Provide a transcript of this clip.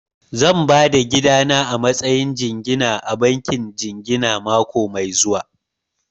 Zan ba da gidana a matsayin jingina a bankin jingina mako mai zuwa